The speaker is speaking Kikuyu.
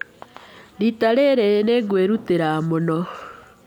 Rita rĩrĩ, nĩ ngwĩrutĩra mũno.